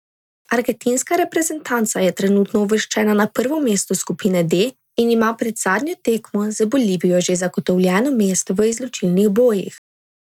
Argentinska reprezentanca je trenutno uvrščena na prvo mesto skupine D in ima pred zadnjo tekmo z Bolivijo že zagotovljeno mesto v izločilnih bojih.